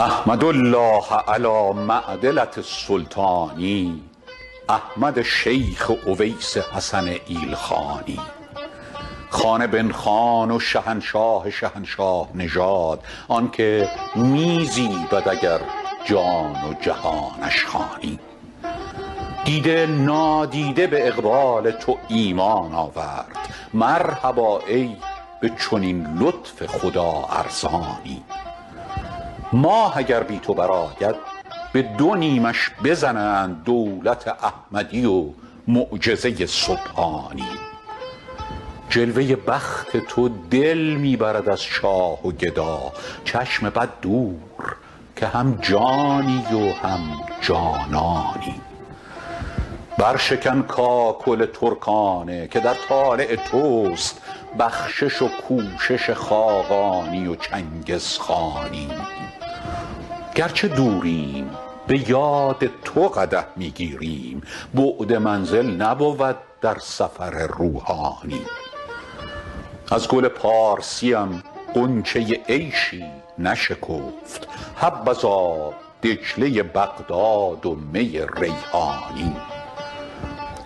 احمد الله علی معدلة السلطان احمد شیخ اویس حسن ایلخانی خان بن خان و شهنشاه شهنشاه نژاد آن که می زیبد اگر جان جهانش خوانی دیده نادیده به اقبال تو ایمان آورد مرحبا ای به چنین لطف خدا ارزانی ماه اگر بی تو برآید به دو نیمش بزنند دولت احمدی و معجزه سبحانی جلوه بخت تو دل می برد از شاه و گدا چشم بد دور که هم جانی و هم جانانی برشکن کاکل ترکانه که در طالع توست بخشش و کوشش خاقانی و چنگزخانی گر چه دوریم به یاد تو قدح می گیریم بعد منزل نبود در سفر روحانی از گل پارسیم غنچه عیشی نشکفت حبذا دجله بغداد و می ریحانی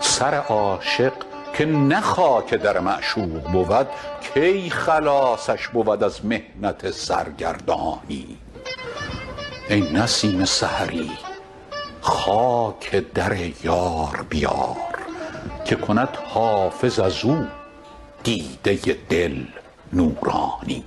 سر عاشق که نه خاک در معشوق بود کی خلاصش بود از محنت سرگردانی ای نسیم سحری خاک در یار بیار که کند حافظ از او دیده دل نورانی